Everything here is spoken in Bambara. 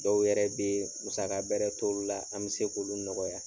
Dɔw yɛrɛ bɛ musaka bɛrɛ t'olu la an bɛ se k'olu nɔgɔya.